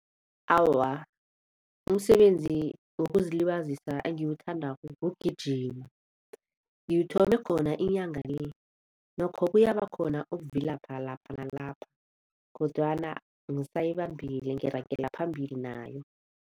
Awa, umsebenzi wokuzilibazisa engiwuthandako ngewokugijima. Ngiwuthome khona inyanga le nokho kuyaba khona ukuvilapha lapha nalapha kodwana ngisayibambile ngiragela phambili nayo.